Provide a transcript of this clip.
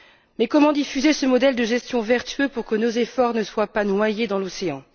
Mais comment diffuser ce modèle de gestion vertueux pour que nos efforts ne soient pas noyés dans l'océan?